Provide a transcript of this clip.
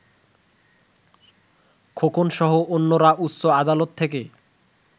খোকনসহ অন্যরা উচ্চ আদালত থেকে